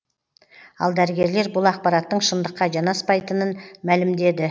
ал дәрігерлер бұл ақпараттың шындыққа жанаспайтынын мәлімдеді